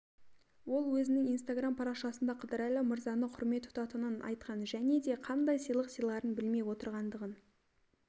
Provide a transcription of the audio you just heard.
өзінің инстаграм парақшасында қыдырәлі мырзаны құрмет тұтанын айтқан және де қандай сыйлық сыйларын білмей отырғандығын